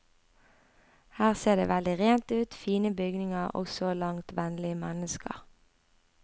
Her ser det veldig rent ut, fine bygninger og så langt vennlige mennesker.